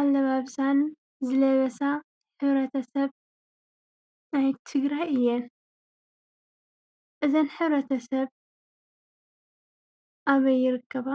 ኣለባብሳን ዝለበሳ ሕብረተሰብ ናይ ትግራይ እየን ።እዘን ሕብረተሰብ ኣበይ ይርከባ?